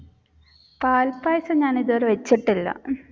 പാൽപായസം ഞാൻ ഇത് വരെ വെച്ചിട്ടില്ല.